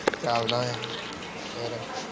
ਚਲਦਾ ਆ ਫੇਰ